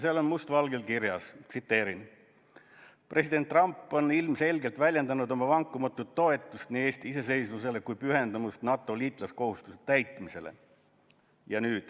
Seal on must valgel kirjas: „President Trump on ilmselgelt väljendanud oma vankumatut toetust nii Eesti iseseisvusele kui pühendumust NATO liitlaskohustuste täitmisele.